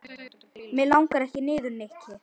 Mig langar ekki niður, Nikki.